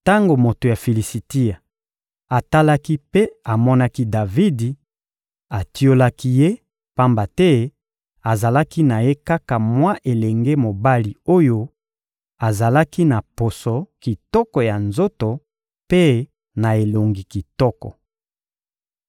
Tango moto ya Filisitia atalaki mpe amonaki Davidi, atiolaki ye; pamba te azalaki na ye kaka mwa elenge mobali oyo azalaki na poso kitoko ya nzoto mpe na elongi kitoko.